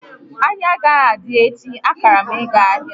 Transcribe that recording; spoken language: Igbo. Ahịa agaghị adị echi, akara m ịga ahịa